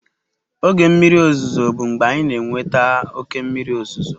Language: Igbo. Oge mmiri ozuzo bụ mgbe anyị na-enweta oke mmiri ozuzo.